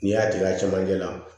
N'i y'a tigɛ a camancɛ la